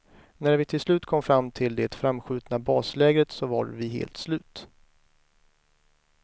När vi till slut kom fram till det framskjutna baslägret så var vi helt slut.